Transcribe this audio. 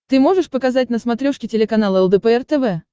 ты можешь показать на смотрешке телеканал лдпр тв